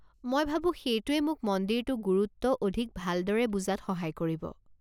মই ভাবো সেইটোৱে মোক মন্দিৰটো গুৰুত্ব অধিক ভালদৰে বুজাত সহায় কৰিব।